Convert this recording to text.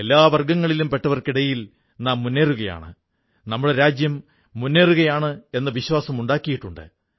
എല്ലാ വർഗ്ഗങ്ങളിലും പെട്ടവർക്കിടയിൽ നാം മുന്നേറുകയാണ് നമ്മുടെ രാജ്യം മുന്നേറുകയാണെന്ന വിശ്വാസമുണ്ടായിട്ടുണ്ട്